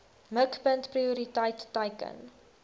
mikpunt prioriteit teiken